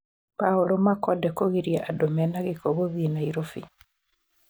Paul Makonde kũgiria andũ mena gĩko gũthiĩ Nairobi